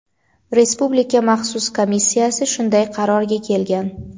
Respublika maxsus komissiyasi shunday qarorga kelgan.